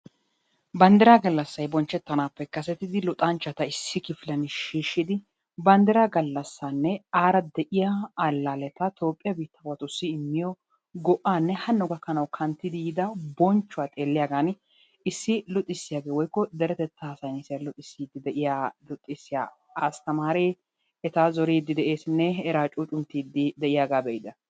Banddiraa gallassay bonchchettanaappe kasetidi luxanchchata issi kifiliyan shiishshidi banddiraa gallassaanne aara de'iya allaalleta Toophphiya biittaawatussi immiyo go"aanne hanno gakkanawu kanttidi yiida bonchchuwa xeelliyagaani issi luxissiyagee/deretettaa saynnisiya luxissiya asttamaaree eta zoriiddi de'eesinne akeekaa cuucunttidi de'iyaga be'ida.